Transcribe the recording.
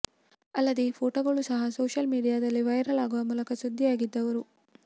ಅಲ್ಲದೆ ಈ ಫೋಟೋಗಳು ಸಹ ಸೋಷಿಯಲ್ ಮೀಡಿಯಾದಲ್ಲಿ ವೈರಲ್ ಆಗುವ ಮೂಲಕ ಸುದ್ದಿಯಾಗಿದ್ದರು